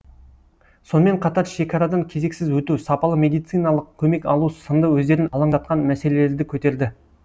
сонымен қатар шекарадан кезексіз өту сапалы медициналық көмек алу сынды өздерін алаңдатқан мәселелерді көтерді